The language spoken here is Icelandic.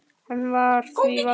Hans var því valdið.